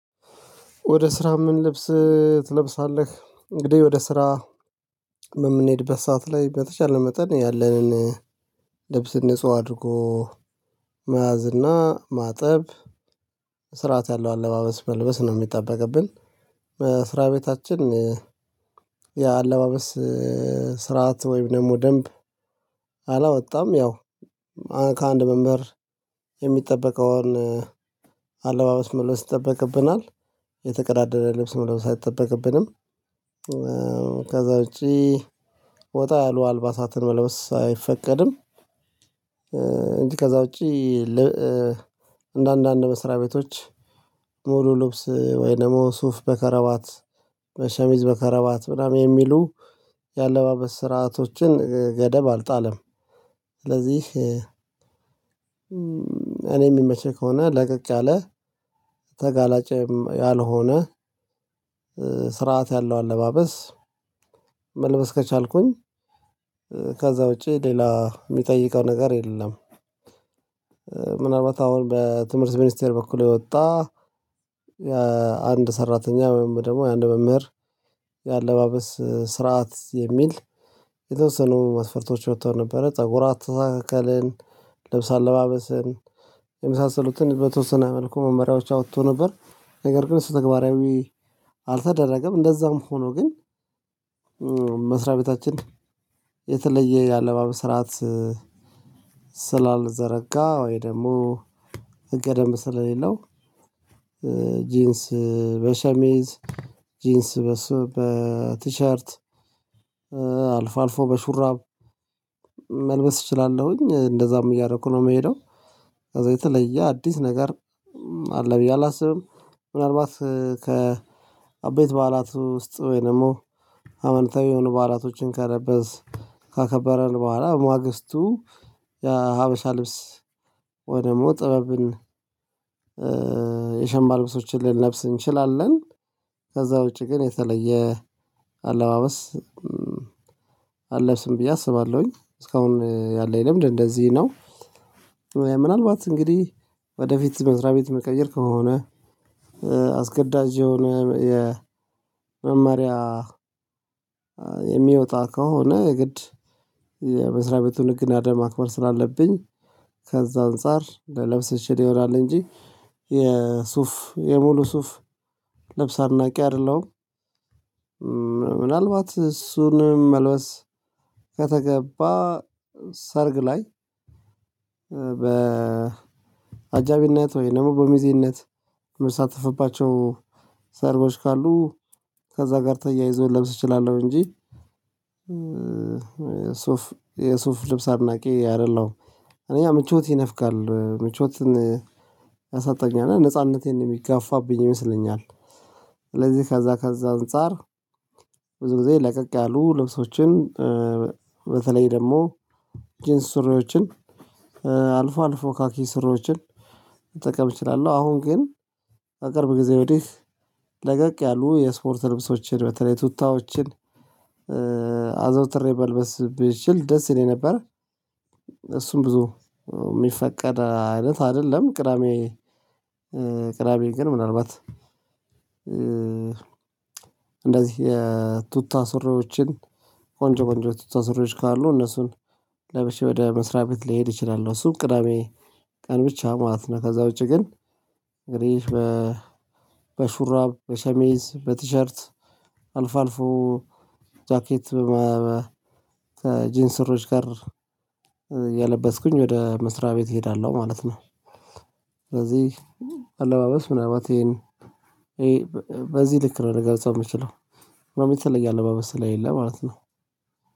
ወደ ስራ ምን ልብስ ትለብሳለህ? እንግዲህ ወደ ስራ የምንሄድበት ሰዓት ላይ በተቻለ መጠን ያለንን ልብስ ንጹህ አድርጎ መያዝ እና ማጠብ ስርዓት ያለው አለባበስ መልበስ ነው የሚጠበቅብን። ስራ ቤታችን የአለባበስ ስርዓት ወይም ደግሞ ደንብ። አላወጣም ያው ከአንድ መምህር የሚጠበቀውን አለባበስ መለወስ ይጠበቅብናል። የተቀዳደረ ልብስ መለበስ አይጠበቅብንም። ከዛ ውጪ ወጣ ያሉ አልባሳትም መልበስ አይፈቀድም። እንጂ ከዛ ውጪ አንደአንድ አንድ መስሪያ ቤቶች ሙሉ ልብስ ወይ ደግሞ ሱፍ በከረባት ሸሚዝ በከረባት ምናምን የሚሉ የአለባበስ ስርዓቶችን ገደብ አልጣለም። ስለዚህ እኔ የሚመቸኝ ከሆነ ለቀቅ ያለ ተጋላጭም ያልሆነ ስርዓት ያለው አለባበስ መልበስ ከቻልኩኝ ከዛ ውጪ ሌላ የሚጠይቀው ነገር የለም። ምናልባት አሁን በትምህርት ሚኒስቴር በኩል የወጣ አንድ ሰራተኛ ወይም ደግሞ የአንድ መምህር የአለባበስ ስርዓት የሚል የተወሰኑ መስፈርቶች ወጥተው ነበረ። ፀጉር አስተካከልን ልብስ አለባበስን የመሳሰሉትን በተወሰነ መልኩ መመሪያዎች አውጥቶ ነበር ነገር ግን እሱ ተግባራዊ አልተደረገም። እንደዛም ሆኖ ግን መስሪያ ቤታችን የተለየ የአለባበስ ስርዓት ስላልዘረጋ ወይ ደግሞ ህገደንብ ስለሌለው። ጂንስ በሸሚዝ ጂንስ በሶ በቲሸርት ቲሸርት አልፎ አልፎ በሹራብ መልበስ እችላለሁኝ እንደዛም እያደረኩ ነው የምሄደው። ከዛ የተለየ አዲስ ነገር አለ ብዬ አላስብም። ምናልባት ከአቤት በዓላት ውስጥ ወይ ደግሞ ሃይመንታዊ የሆኑ በዓላቶችን ከለበስ ካከበረን በኋላ ማግስቱ የሀበሻ ልብስ ወይ ደግሞ ጥበብን የሸማ ልብሶችን ልንለብስ እንችላለን። ከዛ ውጪ ግን የተለየ አለባበስ አለብስም ብዬ አስባለሁኝ እስካሁን ያለኝ ልምንድ እንደዚህ ነው። ምናልባት እንግዲህ ወደፊት መስሪያ ቤት ምቀይር ከሆነ አስገዳጅ የሆነ የመመሪያ የሚወጣ ከሆነ የግድ የመስሪያ ቤቱን ህግና ደምብ ማክበር ስላለብኝ ከዛ አንፃር ልለብስ እችል ይሆናል እንጂ። የሱፍ የሙሉ ሱፍ ልብስ አድናቂ አይደለም። ምናልባት እሱንም መልበስ ከተገባ ሰርግ ላይ በአጃቢነት ወይም በሚዜነት የመሳተፍባቸው ሰርቦች ካሉ ከዛ ጋር ተያይዞ ለብስ እችላለሁ እንጂ። የሱፍ የሱፍ ልብስ አድናቂ አይደለሁም። እኛ ምቾት ይነፍጋል ምቾትን ያሳጣኛል ነው ነጻነቴን የሚጋፋብኝ ይመስለኛል። ስለዚህ ከዛ ከዛ አንፃር ብዙ ጊዜ ለቀቅ ያሉ ልብሶችን በተለይ ደግሞ ጂንስ ሱሬዎችን አልፎ አልፎ ካኪ ስሮችን መጠቀም እችላለሁ። አሁን ግን ከቅርብ ጊዜ ወዴህ ለቀቅ ያሉ የስፖርት ልብሶችን በተለይ ቱታዎችን አዘውትሬ መልበስ ቢችል ደስ ይለኝ ነበር። እሱም ብዙ የሚፈቀድ አይነት አይደለም ቅዳሜ ግን ምናልባት እንደዚህ የቱታ ሱሪዎችን ቆንጆ ቆንጆ ቱታ ሱሪዎች ካሉ እነሱን ለበሼ ወደ መስሪያ ቤት ሊሄድ እችላለው እሱም ቅዳሜ ቀን ብቻ ማለት ነው። ከዛ ውጪ ግን እንግዲህ በ በሹራብ በሸሚዝ በቲሸርት አልፎ አልፎ ጃኬት ከጂንስ ስሮች ጋር የለበስኩኝ ወደ መስሪያ ቤት እሄዳለሁ ማለት ነው። ስለዚህ አለባበስ ምናልባት ይሄን በዚህ ልክ ነው ልገልጸው የምችለው ምንም የተለየ አለባበስ ስለሌለ ማለት ነው